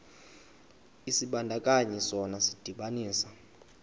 isibandakanyi sona sidibanisa